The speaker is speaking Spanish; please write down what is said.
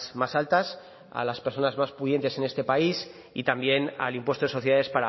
más altas a las personas más pudientes en este país y también al impuesto de sociedades